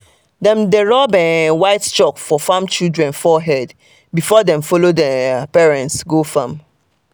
dem dey rub um white chalk for farm children forehead before them follow their parents go farm.